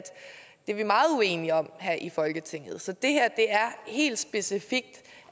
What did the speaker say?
det er vi meget uenige om her i folketinget så det her er helt specifikt